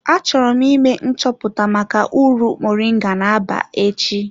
Achọrọ m ime nchọpụta maka uru moringa na-aba echi.